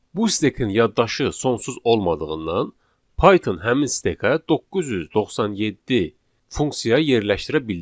Bu stekin yaddaşı sonsuz olmadığından Python həmin stekə 997 funksiya yerləşdirə bildi.